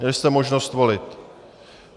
Měli jste možnost volit.